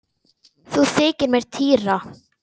Nú þykir mér týra!